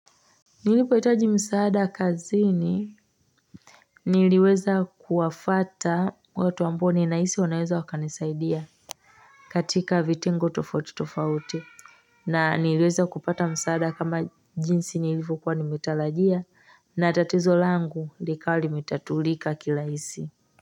Nilipoitaji msaada kazini niliweza kuwafata watu ambao ninaisi wanaeza wakanisaidia katika vitengo tofauti tofauti na niliweza kupata msaada kama jinsi nilivokuwa nimetalajia na tatizo langu likawa limetatulika kilaisi.